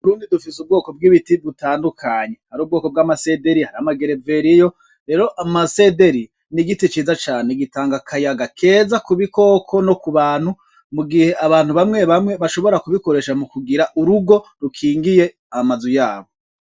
Mu Burundi dufise ubwoko bw'ibiti bitandukanye, hari ubwoko bw'amasederi hariyo amagereveriyo, rero amasederi ni igiti ciza cane gitanga akayaga keza ku bikoko no ku bantu mu gihe abantu bamwe bamwe bashobora kubikoresha mu kugira urugo rukingiye amazu yabo.